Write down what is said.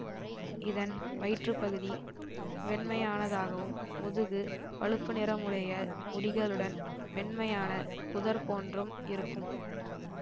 இதன் வயிற்றுப்பகுதி வெண்மையானதாகவும் முதுகு பழுப்புநிறமுடைய முடிகளுடன் மென்மையான புதர் போன்றும் இருக்கும்